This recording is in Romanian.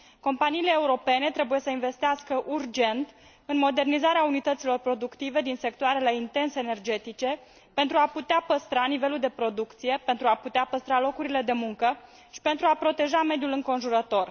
Companiile europene trebuie să investească, urgent, în modernizarea unităților productive din sectoarele intens energetice, pentru a putea păstra nivelul de producție, pentru a putea păstra locurile de muncă și pentru a proteja mediul înconjurător.